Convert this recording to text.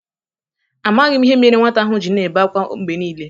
Amaghị m ihe mere nwata ahụ ji na-ebe akwa mgbe niile.